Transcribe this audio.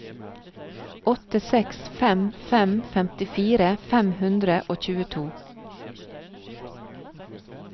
åtte seks fem fem femtifire fem hundre og tjueto